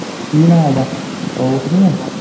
ਕੀ ਨਾ ਓਦਾ, ਉਹ ਤਾਨੀ ਆ।